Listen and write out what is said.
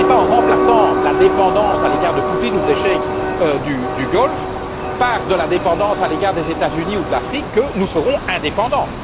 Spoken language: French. Ce n'est pas en remplaçant la dépendance à l'égard de Poutine ou des cheikhs du Golfe par la dépendance à l'égard des États Unis ou de l'Afrique que nous serons indépendants.